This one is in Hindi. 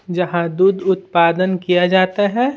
जहां दूध उत्पादन किया जाता है।